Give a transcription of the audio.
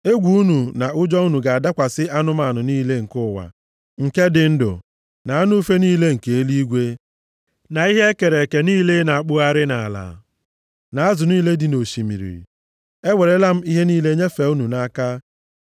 Egwu unu na ụjọ unu ga-adakwasị anụmanụ niile nke ụwa nke dị ndụ, na anụ ufe niile nke eluigwe, na ihe e kere eke niile na-akpụgharị nʼala, na azụ niile dị nʼosimiri. Ewerela m ha niile nyefee unu nʼaka.